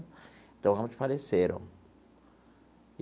Então, ambos faleceram.